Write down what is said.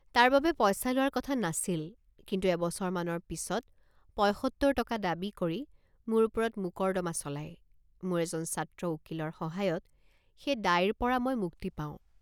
তাৰবাবে পইচা লোৱাৰ কথা নাছিল কিন্তু এবছৰমানৰ পিচত পঁইসত্তৰ টকা দাবী কৰি মোৰ ওপৰত মোকৰ্দমা চলায় মোৰ এজন ছাত্ৰ উকীলৰ সহায়ত সেই দায়ৰপৰা মই মুক্তি পাওঁ।